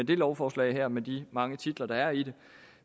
det lovforslag her med de mange titler der er i det